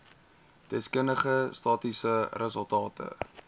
deskundige statistiese resultate